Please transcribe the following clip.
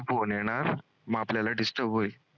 _Phone हे ना म आपल्याला disturb